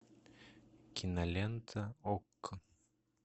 кинолента окко